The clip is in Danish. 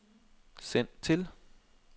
send til